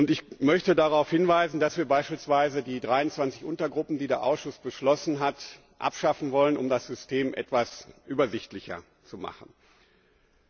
Ich möchte darauf hinweisen, dass wir beispielsweise die 23 Untergruppen, die der Ausschuss beschlossen hat, abschaffen wollen, um das System etwas übersichtlicher zu gestalten.